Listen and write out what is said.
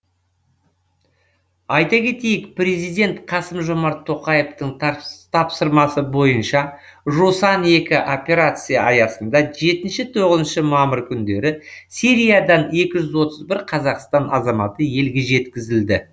айта кетейік президент қасым жомарт тоқаевтың тапсырмасы бойынша жусан екі операциясы аясында жетінші тоғызыншы мамыр күндері сириядан екі жүз отыз бір қазақстан азаматы елге жеткізілді